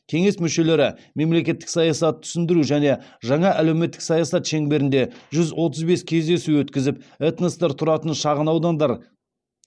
кеңес мүшелері мемлекеттік саясатты түсіндіру және жаңа әлеуметтік саясат шеңберінде жүз отыз бес кездесу өткізіп этностар тұратын шағынаудандар